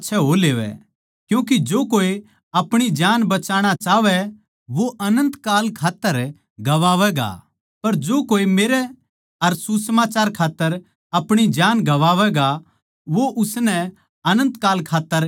क्यूँके जो कोई आपणी जान बचाणा चाहवै वो अनन्त काल खात्तर गवावैगा पर जो कोई मेरै अर सुसमाचार खात्तर आपणी जान गवावैगा वो उसनै अनन्त काल खात्तर बचावैगा